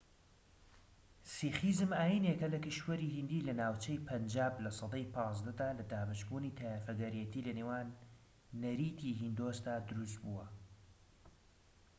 سیخیزم ئاینێکە لە کیشوەری هیندی لە ناوچەی پەنجاب لە سەدەی 15 دا لە دابەشبوونی تایەفەگەرێتی لە نێو نەریتی هیندۆسدا دروست بووە